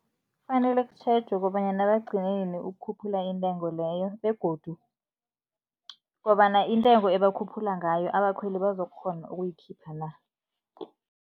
Kufanele kutjhejwe kobanyana bagcine nini ukukhuphula intengo leyo begodu kobana intengo ebakhuphula ngayo, abakhweli bazokukhgona ukuyikhipha na.